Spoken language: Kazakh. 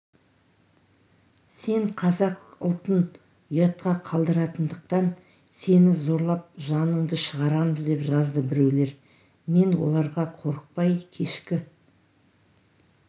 сен қазақ ұлтын ұятқа қалдыратындықтан сені зорлап жаныңды шығарамыз деп жазды біреулер мен оларға қорықпай кешкі